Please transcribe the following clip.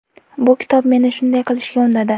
Bu kitob meni shunday qilishga undadi.